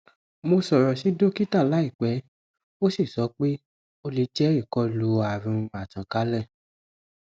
mo sọrọ si dokita laipẹ o si sọ pe o le jẹ ikolu arun a takanle